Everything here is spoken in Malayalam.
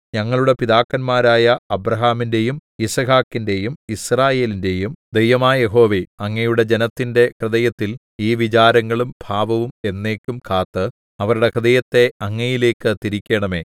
ഞങ്ങളുടെ പിതാക്കന്മാരായ അബ്രാഹാമിന്‍റെയും യിസ്ഹാക്കിന്റെയും യിസ്രായേലിന്റെയും ദൈവമായ യഹോവേ അങ്ങയുടെ ജനത്തിന്റെ ഹൃദയത്തിൽ ഈ വിചാരങ്ങളും ഭാവവും എന്നേക്കും കാത്ത് അവരുടെ ഹൃദയത്തെ അങ്ങയിലേക്ക് തിരിക്കേണമേ